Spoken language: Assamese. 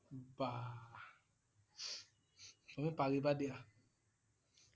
বাঃ তুমি পাৰিবা দিয়া।